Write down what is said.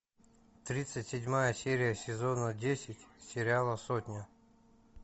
тридцать седьмая серия сезона десять сериала сотня